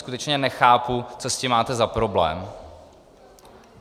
Skutečně nechápu, co s tím máte za problém.